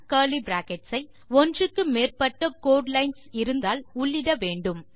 curly brackets ஐ ஒன்றுக்கு மேற்பட்ட கோடு லைன்ஸ் இருந்தால் உள்ளிட வேண்டும்